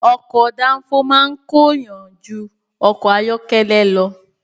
Ọkọ̀ dáńfó máa ń ko èèyàn jú ọkọ̀ ayọ́kẹ́lẹ́ lọ.